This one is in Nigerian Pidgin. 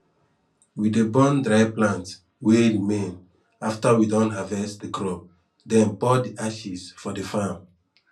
we dey burn dry plant wey remain afta we don harvest de crop den pour de ashes for de farm